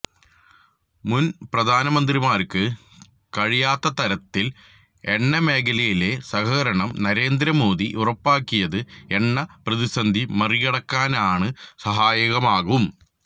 മുന് പ്രധാനമന്ത്രിമാര്ക്ക് കഴിയാത്തതരത്തില് എണ്ണമേഖലയിലെ സഹകരണം നരേന്ദ്രമോദി ഉറപ്പാക്കിയത് എണ്ണ പ്രതിസന്ധി മറികടക്കാന് സഹായകമാകും